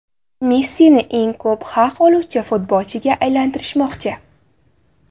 Messini eng ko‘p haq oluvchi futbolchiga aylantirishmoqchi.